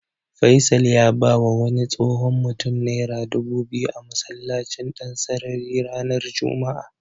Faisal ya bawa wani tsohon mutum Naira dubu biyu a masallacin Dansarari ranar Juma'a.